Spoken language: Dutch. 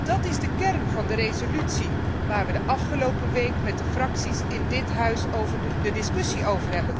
Dat is de kern van de resolutie waarover wij de afgelopen week met de fracties in dit Huis over hebben gediscussieerd.